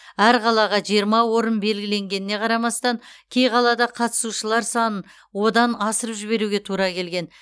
әр қалаға жиырма орын белгіленгеніне қарамастан кей қалада қатысушылар санын одан асырып жіберуге тура келген